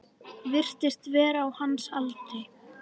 Virtist vera á hans aldri.